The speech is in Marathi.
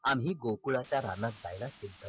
आम्ही गोकुळाच्या रानात जायला घेतल